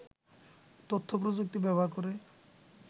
তথ্যপ্রযুক্তি ব্যবহার করে